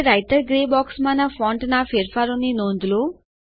હવે writer grey બોક્સમાંના ફોન્ટના ફેરફારોની નોંધ લો